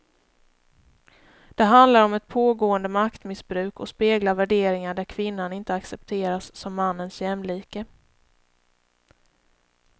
Det handlar om ett pågående maktmissbruk och speglar värderingar där kvinnan inte accepteras som mannens jämlike.